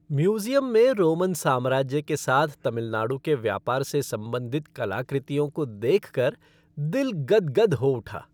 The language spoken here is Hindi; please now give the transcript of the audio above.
म्यूज़ियम में रोमन साम्राज्य के साथ तमिलनाडु के व्यापार से संबन्धित कलाकृतियों को देखकर दिल गद्गद हो उठा।